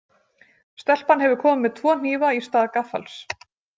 Stelpan hefur komið með tvo hnífa í stað gaffals.